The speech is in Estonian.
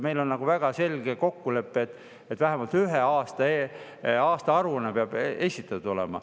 Meil on väga selge kokkulepe, et vähemalt ühe aasta aastaaruanne peab esitatud olema.